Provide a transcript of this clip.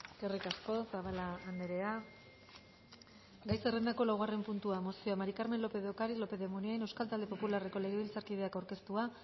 eskerrik asko zabala andrea gai zerrendako laugarren puntua mozioa mari carmen lópez ocariz lópez de munain euskal talde popularreko legebiltzarkideak aurkeztua